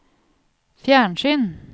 fjernsyn